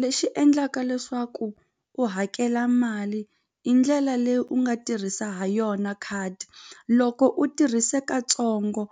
Lexi endlaka leswaku u hakela mali i ndlela leyi u nga tirhisa ha yona khadi loko u tirhise katsongo